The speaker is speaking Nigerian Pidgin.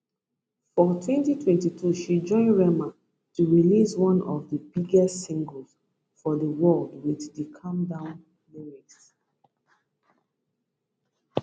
for 2022 she join rema to release one of di biggest singles for di world wit di calm down lyrics